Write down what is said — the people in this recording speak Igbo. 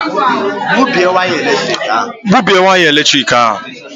Gbubie waya eletrik ahụ!